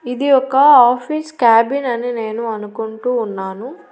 ఇది ఒక office cabin అని నేను అనుకుంటూ ఉన్నాను.